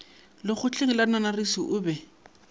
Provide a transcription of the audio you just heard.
lekgotleng la nanarisi o be